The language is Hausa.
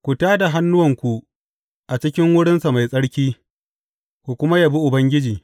Ku tā da hannuwanku a cikin wurinsa mai tsarki ku kuma yabi Ubangiji.